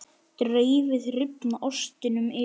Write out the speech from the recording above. Dreifið rifna ostinum yfir.